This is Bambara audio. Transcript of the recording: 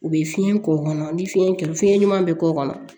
U bɛ fiɲɛ k'o kɔnɔ ni fiɲɛ kɛ fiɲɛ ɲuman bɛ k'o kɔnɔ